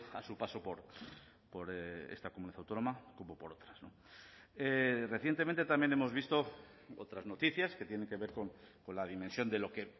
a su paso por esta comunidad autónoma como por otras recientemente también hemos visto otras noticias que tienen que ver con la dimensión de lo que